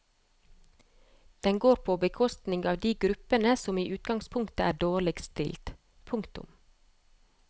Den går på bekostning av de gruppene som i utgangspunktet er dårligst stilt. punktum